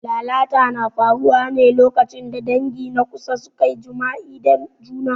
Lalata na faruwa ne lokacin da dangi na kusa suka yi jima'i da juna.